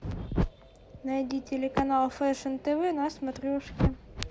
найди телеканал фэшн тв на смотрешке